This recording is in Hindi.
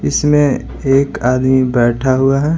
इसमें एक आदमी बैठा हुआ है।